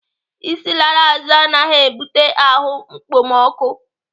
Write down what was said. Isi lara azụ anaghị ebute ahụ ekpomọkụ.